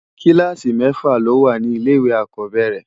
Kìlásí mèfá ló wá ni ilé iwé ákòbèrè